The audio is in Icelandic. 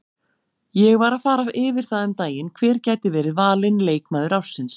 Ég var að fara yfir það um daginn hver gæti verið valinn leikmaður ársins.